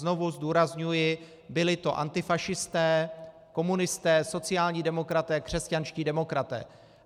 Znovu zdůrazňuji, byli to antifašisté, komunisté, sociální demokraté, křesťanští demokraté.